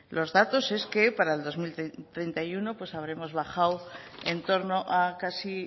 los datos es que para el dos mil treinta y uno pues habremos bajado en torno a casi